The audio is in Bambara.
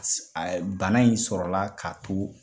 A bana in sɔrɔla k'a to